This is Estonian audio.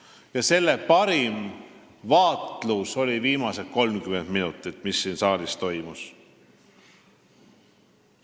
Seda oli võimalik parimal moel vaadelda viimase 30 minuti jooksul, vaadates, mis siin saalis toimus.